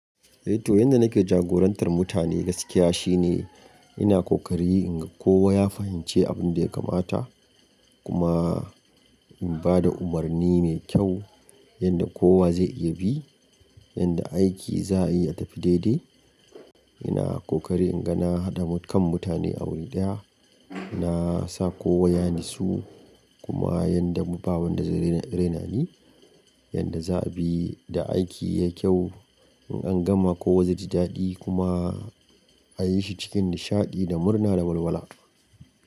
Eh to, yadda nake jagorantar mutane gaskiya shine ina kokari inga kowa ya fahimci abin da ya kamata. Kuma in ba da umarni mai kyau yanda kowa zai iya bi, yanda aiki za ayi ya tafi daidai. Ina kokari inga na haɗa kan mutane a wuri ɗaya. Na sa kowa ya nitsu kuma yanda babu wanda zai raina ni, yanda za a bi da aiki ya kyau. In an gama kowa zai ji daɗi kuma a yi shi cikin nishaɗi da murna da walwala.